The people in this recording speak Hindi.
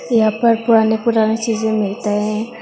यहां पर पुराने पुराने चीजे मिलता है।